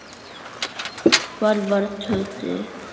Hvar var Tóti?